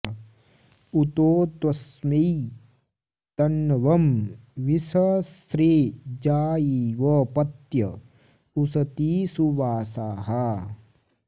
उतो त्वस्मै तन्वं विसस्रे जायेव पत्य उसती सुवासाः